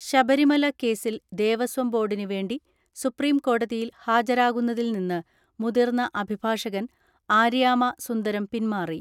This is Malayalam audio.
ശബരിമല കേസിൽ ദേവസ്വം ബോർഡിന് വേണ്ടി സുപ്രീം കോടതിയിൽ ഹാജരാകുന്നതിൽ നിന്ന് മുതിർന്ന അഭിഭാഷകൻ ആര്യാമ സുന്ദരം പിൻമാറി.